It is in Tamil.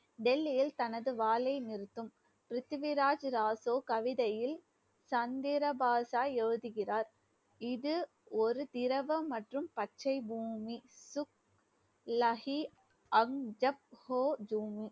டெல்லியில் தனது வாளை நிறுத்தும். பிருத்திவிராஜ் ராசோ கவிதையில் சந்திர பாஷா எழுதுகிறார். இது ஒரு திரவம் மற்றும் பச்சை பூமி. லஹி அம்ஜப்